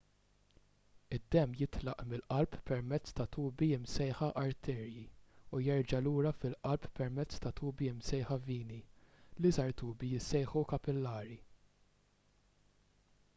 id-demm jitlaq mill-qalb permezz ta' tubi msejħa arterji u jerġa' lura fil-qalb permezz ta' tubi msejħa vini l-iżgħar tubi jissejħu kapillari